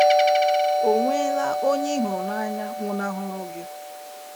Ò nweela onye ị hụrụ n’anya nwụnahụrụ gị?